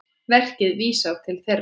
Verkið vísar til þeirra.